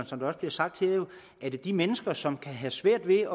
som det også bliver sagt her at de mennesker som kan have svært ved